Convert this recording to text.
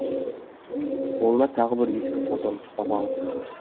қолына тағы бір ескі фотоны ұстап алыпты